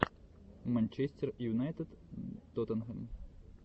манчестер юнайтед тоттенхэм